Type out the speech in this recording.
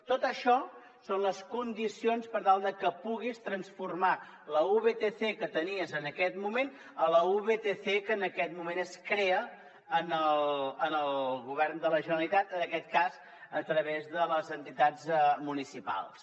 tot això són les condicions per tal de que puguis transformar la vtc que tenies en aquest moment en la vtc que en aquest moment es crea al govern de la generalitat en aquest cas a través de les entitats municipals